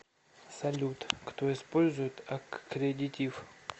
салют кто использует аккредитив